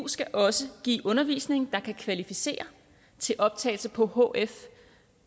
skal også give undervisning der kan kvalificere til optagelse på hf